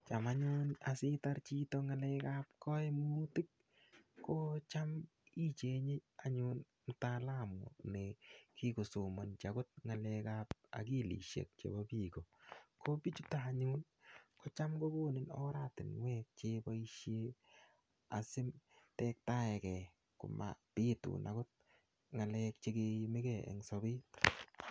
Cham anyun asitar chito ng'alekap kaimutik, ko cham icheng'e anyun mtaalamu ne kikosomanchi angot ngalekap akilisiek chebo biik. Ko bichut oanyun, kocham kokonu otarunwek che iboisie asim tektaeke komabitun angot ng'alek chekeimigei eng sopet